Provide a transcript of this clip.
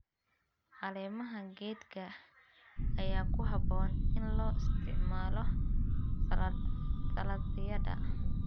Caleemaha geedka ayaa ku habboon in loo isticmaalo saladhyada.